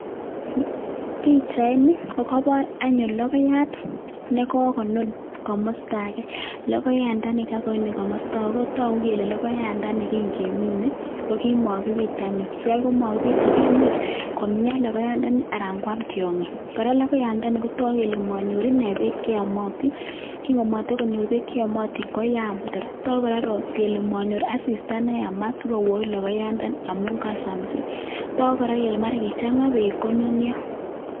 Pichaini kokoboor anyun logoiyaat, nekokonuun komostoo age, logoyandani kakonun komoosto age kotoogu kele logoyaandani kin kemine ko kimakibiit anyun. Kimakibiit anyun akimuch komian logoyaandani anan kwaam tiongiik. Kora logoyandani kotoogu kele monyoor ine beek cheomotin, kin komotokonyoor beek che yoomotin koyaam. Togu kora kele monyoor asistaa neyaamat, asigoiwoit logoyandani amun kasamisit. Toguu kora kole mara kichangaa beek missing konunioo.